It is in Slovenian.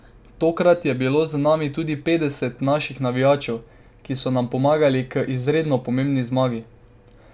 Tokrat je bilo z nami tudi petdeset naših navijačev, ki so nam pomagali k izredno pomembni zmagi.